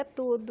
É tudo.